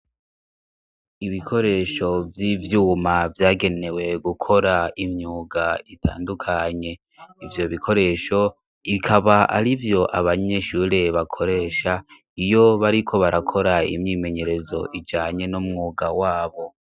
Ibikoresho vy'ivyuma vyagenewe gukora imyuga itandukanye, ivyo bikoresho bikaba ari vyo abanyeshure bakoresha, iyo bariko barakora imyimenyerezo ijanye n'umwuga wabo.